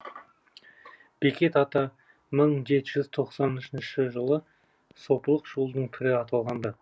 бекет ата мың жеті жүз тоқсан үшінші жылы сопылық жолдың пірі аталған ды